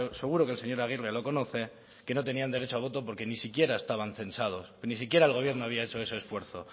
seguro que el señor aguirre lo conoce que no tenían derecho a voto porque ni siquiera estaban censados ni siquiera el gobierno había hecho ese esfuerzo